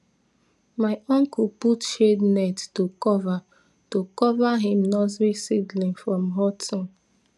my uncle put shade net to cover to cover him nursery seedling from hot sun